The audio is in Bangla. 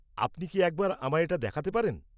আপনি কি একবার আমায় এটা দেখাতে পারেন?